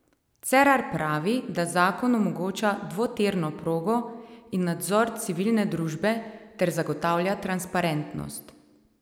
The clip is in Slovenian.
Cerar pravi, da zakon omogoča dvotirno progo in nadzor civilne družbe ter zagotavlja transparentnost.